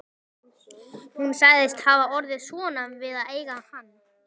Hún sagðist hafa orðið svona við að eiga hann